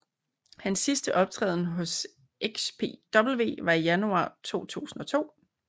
Hans sidste optræden hos XPW var i januar 2002